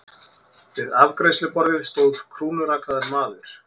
Við afgreiðsluborðið stóð krúnurakaður maður.